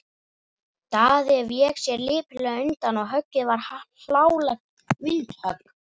Daði vék sér lipurlega undan og höggið varð hlálegt vindhögg.